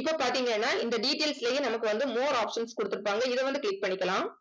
இப்ப பாத்தீங்கன்னா, இந்த details லயே நமக்கு வந்து more options கொடுத்திருப்பாங்க. இதை வந்து click பண்ணிக்கலாம்